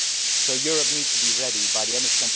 So Europe needs to be ready by the end of